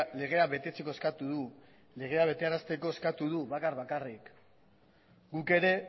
legea betetzeko eskatu du legea betearazteko eskatu du bakar bakarrik guk ere